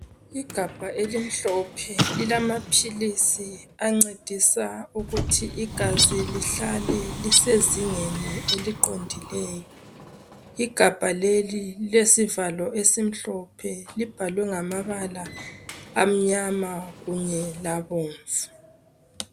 Igabha elimhlophe lilamaphilisi ancedisa ukuthi igazi lihlale lisezingeni eliqondileyo. Igabha leli lilesivalo esimhlophe. Libhalwe ngamabala amnyama kunye labomvu